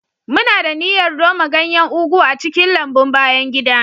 Muna da niyyar noma ganyen ugu a cikin lambun bayan gida.